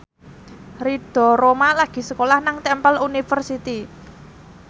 Ridho Roma lagi sekolah nang Temple University